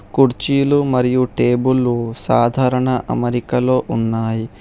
కుర్చీలు మరియు టేబుల్లు సాధారణ అమరికలో ఉన్నాయి.